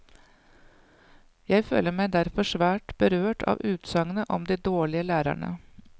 Jeg føler meg derfor svært berørt av utsagnet om de dårlige lærerne.